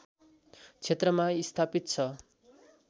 क्षेत्रमा स्थापित छ